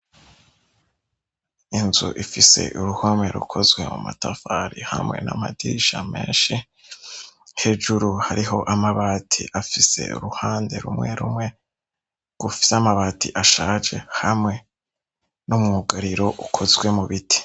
Inzu ifise uruhome rukozwe mu matafari hamwe n'amadirisha menshi hejuru hariho amabati afise uruhande rumwe rumwe gufise amabati ashaje hamwe n'umwugariro ukozwe mu biti.